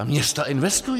A města investují.